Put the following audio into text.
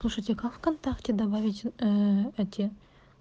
слушайте как вконтакте добавить ээ эти